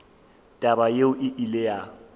taba yeo e ile ya